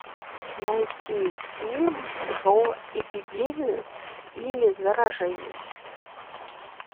найти фильм про эпидемию или заражение